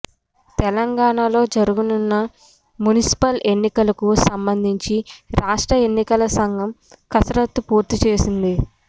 తెలంగాణలో జరగనున్న మున్సిపల్ ఎన్నికలకు సంబంధించి రాష్ట్ర ఎన్నికల సంఘం కసరత్తు పూర్తి చేసింది